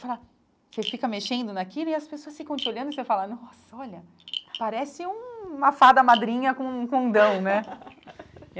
Fala Você fica mexendo naquilo e as pessoas ficam te olhando e você fala, nossa, olha, parece um uma fada madrinha com um condão, né?